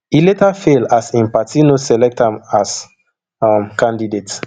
e later fail as im party no select am as um candidate